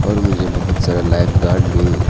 और मुझे बहुत सारा लाइफगार्ड भी --